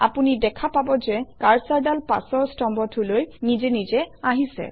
আপুনি দেখা পাব যে কাৰ্চৰডাল পাছৰ স্তম্ভটোলৈ নিজে নিজে আহিছে